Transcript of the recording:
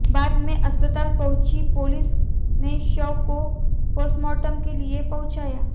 बाद में अस्पताल पहुंची पुलिस ने शव को पोस्टमॉर्टम के लिए पहुंचाया